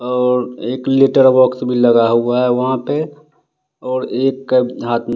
और एक letter box भी लगा हुआ है वहाँ पे और एक हाथ में --